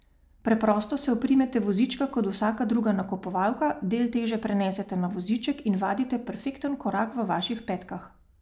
Preprosto se oprimete vozička kot vsaka druga nakupovalka, del teže prenesete na voziček in vadite perfekten korak v vaših petkah.